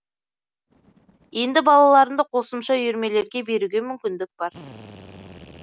енді балаларымды қосымша үйірмелерге беруге мүмкіндік бар